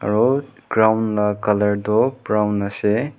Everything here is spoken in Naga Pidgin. aru ground lah colour tu brown ase.